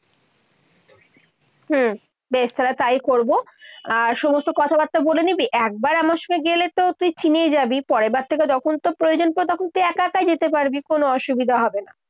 হম বেশ, তাহলে তাই করবো। আর সমস্ত কথাবার্তা বলে নিবি। একবার আমার সঙ্গে গেলে তো তুই চিনেই যাবি। পরেরবার থেকে যখন তোর প্রয়োজন পরে তখন তুই একাই যেতে পারবি। কোনো অসুবিধা হবে না।